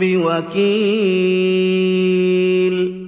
بِوَكِيلٍ